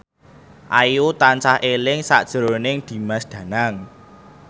Ayu tansah eling sakjroning Dimas Danang